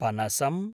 पनसम्